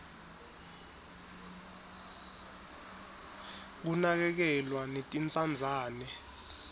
kunakekelwa netintsandzane